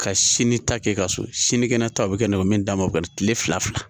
Ka sini ta kɛ ka so sinikɛnɛ ta bɛ kɛ ne bɛ min d'a ma kile fila fila